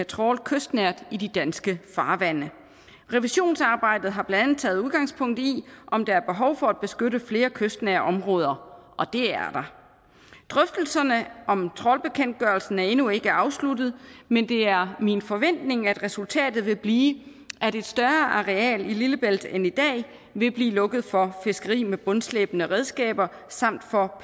trawlkystnært i de danske farvande revisionsarbejdet har blandt andet taget udgangspunkt i om der er behov for at beskytte flere kystnære områder og det er der drøftelserne om trawlbekendtgørelsen er endnu ikke afsluttet men det er min forventning at resultatet vil blive at et større areal i lillebælt end i dag vil blive lukket for fiskeri med bundslæbende redskaber samt for